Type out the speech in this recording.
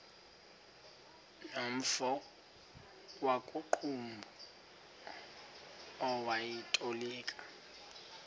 nomfo wakuqumbu owayetolika